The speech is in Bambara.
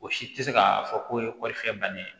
O si tɛ se ka fɔ k'o ye kɔɔrifiyɛ bannen ye